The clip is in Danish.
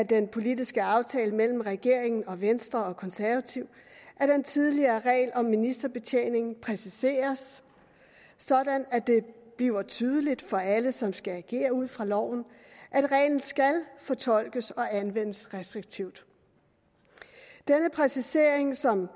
den politiske aftale mellem regeringen og venstre og konservative at den tidligere regel om ministerbetjening præciseres sådan at det bliver tydeligt for alle som skal agere ud fra loven at reglen skal fortolkes og anvendes restriktivt denne præcisering som